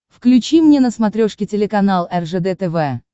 включи мне на смотрешке телеканал ржд тв